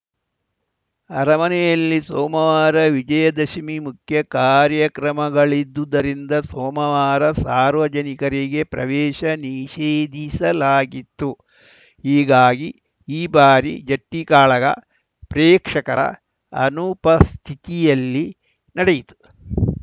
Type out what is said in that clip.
ಅರಮನೆಯಲ್ಲಿ ಸೋಮವಾರ ವಿಜಯದಶಮಿ ಮುಖ್ಯ ಕಾರ್ಯಕ್ರಮಗಳಿದ್ದುದ್ದರಿಂದ ಸೋಮವಾರ ಸಾರ್ವಜನಿಕರಿಗೆ ಪ್ರವೇಶ ನಿಷೇಧಿಸಲಾಗಿತ್ತು ಹೀಗಾಗಿ ಈ ಬಾರಿ ಜಟ್ಟಿಕಾಳಗ ಪ್ರೇಕ್ಷಕರ ಅನುಪಸ್ಥಿತಿಯಲ್ಲಿ ನಡೆಯಿತು